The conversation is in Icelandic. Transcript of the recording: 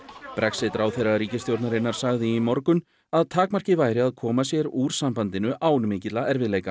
Brexit ráðherra ríkisstjórnarinnar sagði í morgun að takmarkið væri að koma sér úr sambandinu án mikilla erfiðleika